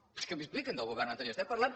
què m’expliquen del govern anterior estem parlant